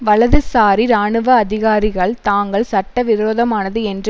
வலதுசாரி இராணுவ அதிகாரிகள் தாங்கள் சட்ட விரோதமானது என்று